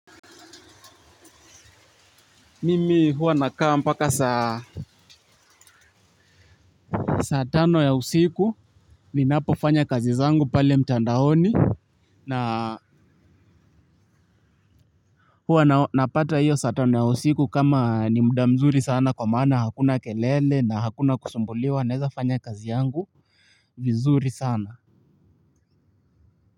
Mimi huwa nakawa mpaka saa saatano ya usiku ninapofanya kazi zangu pale mtandaoni. Naa, huwa napata hiyo saa tano ya usiku kama ni muda mzuri sana kwa maana hakuna kelele na hakuna kusumbuliwa na weza fanya kazi yangu vizuri sana.